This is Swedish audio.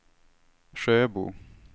Sjöbo